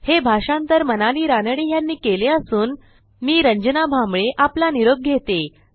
हे भाषांतर मनाली रानडे ह्यांनी केले असून आवाज यांचा आहे